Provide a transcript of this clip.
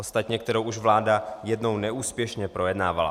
Ostatně kterou už vláda jednou neúspěšně projednávala.